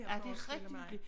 Ja det rigtig hyggeligt